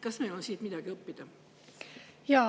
Kas meil on siit midagi õppida?